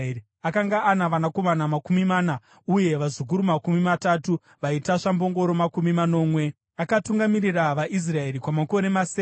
Akanga ana vanakomana makumi mana uye vazukuru makumi matatu, vaitasva mbongoro makumi manomwe. Akatungamirira vaIsraeri kwamakore masere.